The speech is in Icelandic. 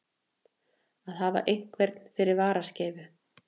Að hafa einhvern fyrir varaskeifu